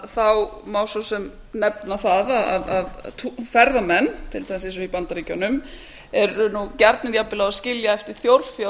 þá má svo sem nefna það að ferðamenn til dæmis eins og í bandaríkjunum eru gjarnir á að skilja eftir þjórfé á